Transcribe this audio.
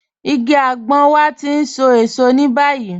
Ìgí àgbọn wà tí ń sọ èṣọ̀ ni báyìí.